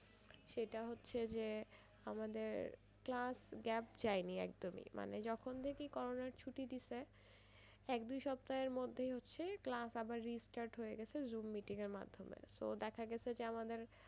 সেটা হচ্ছে যে আমাদের মাস gap যায়নি একদমই মানে যখন দেখি করোনার ছুটি দিছে এক দুই সপ্তাহের মধ্যেই হচ্ছে class আবার restart হয়ে গেছে zoom meeting এর মাধ্যমে so দেখা গেছে যে আমাদের,